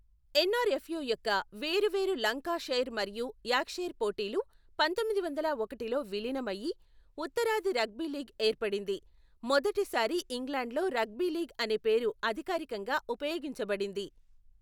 ఎన్ఆర్ఎఫ్యు యొక్క వేరు వేరు లంకాషైర్ మరియు యార్క్షైర్ పోటీలు పంతొమ్మిది వందల ఒకటిలో విలీనం అయి, ఉత్తరాది రగ్బీ లీగ్ ఏర్పడింది, మొదటిసారి ఇంగ్లాండ్లో రగ్బీ లీగ్ అనే పేరు అధికారికంగా ఉపయోగించబడింది.